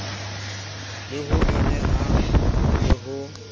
le ho nyonyehang le ho